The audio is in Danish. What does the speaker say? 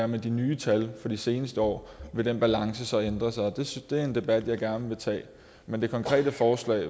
med de nye tal for de seneste år vil den balance så ændre sig og det er en debat jeg gerne vil tage men det konkrete forslag